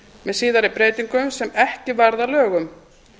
með síðari breytingum sem ekki varð að lögum